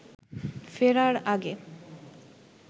ফেরার আগে